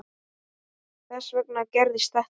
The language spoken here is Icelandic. Þess vegna gerðist þetta.